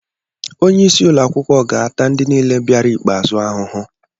Onye isi ụlọ akwụkwọ ga-ata ndị niile bịara ikpe'azụ ahụhụ.